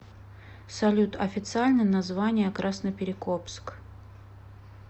салют официальное название красноперекопск